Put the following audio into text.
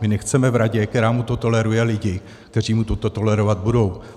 My nechceme v radě, která mu to toleruje, lidi, kteří mu toto tolerovat budou.